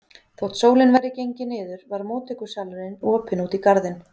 Þótt sólin væri gengin niður var móttökusalurinn opinn út í garðinn.